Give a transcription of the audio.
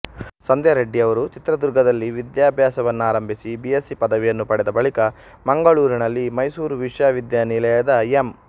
ಸಂಧ್ಯಾರೆಡ್ಡಿಯವರು ಚಿತ್ರದುರ್ಗದಲ್ಲಿ ವಿದ್ಯಾಭ್ಯಾಸವನ್ನಾರಂಭಿಸಿ B Sc ಪದವಿಯನ್ನು ಪಡೆದ ಬಳಿಕ ಮಂಗಳೂರಿನಲ್ಲಿ ಮೈಸೂರು ವಿಶ್ವವಿದ್ಯಾನಿಲಯದ ಎಂ